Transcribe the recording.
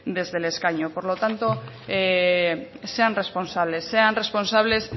desde el escaño por lo tanto sean responsables sean responsables